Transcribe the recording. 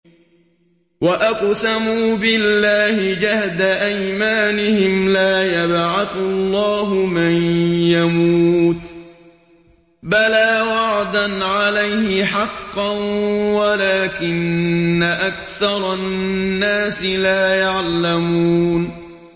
وَأَقْسَمُوا بِاللَّهِ جَهْدَ أَيْمَانِهِمْ ۙ لَا يَبْعَثُ اللَّهُ مَن يَمُوتُ ۚ بَلَىٰ وَعْدًا عَلَيْهِ حَقًّا وَلَٰكِنَّ أَكْثَرَ النَّاسِ لَا يَعْلَمُونَ